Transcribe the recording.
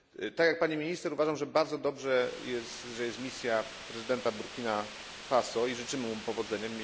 Tak jak pani minister uważam, że bardzo dobrze jest, że jest misja prezydenta Burkina Faso i życzymy mu powodzenia.